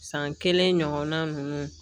San kelen ɲɔgɔnna ninnu